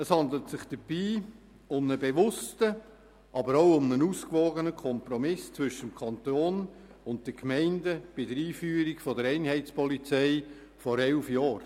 Es handelt sich dabei um einen bewussten und ausgewogenen Kompromiss zwischen Kanton und Gemeinden bei der Einführung der Einheitspolizei vor elf Jahren.